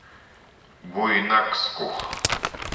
буйнакску